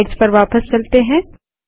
slides पर वापस चलते हैं